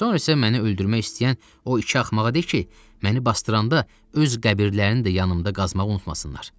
Sonra isə məni öldürmək istəyən o iki axmağa de ki, məni basdıranda öz qəbirlərini də yanımda qazmaq unutmasınlar.